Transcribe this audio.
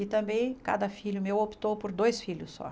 E também cada filho meu optou por dois filhos só.